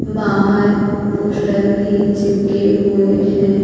बाहर पोस्टर भी चिपके हुएं हैं।